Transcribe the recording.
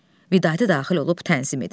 Vidadi daxil olub tənzim edir.